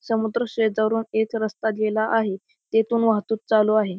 समुद्र शेजारून एक रस्ता गेला आहे तेथून वाहतूक चालू आहे.